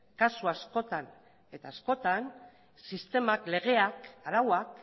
kasu askotan eta askotan sistemak legeak arauak